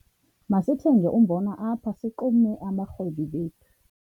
Masithenge umbona apha sixume abarhwebi bethu.